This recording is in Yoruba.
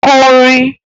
Kọ orin!